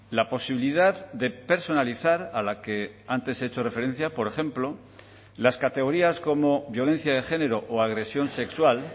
la posibilidad de personalizar a la que antes he hecho referencia por ejemplo las categorías como violencia de género o agresión sexual